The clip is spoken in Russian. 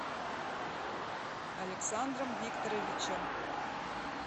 александром викторовичем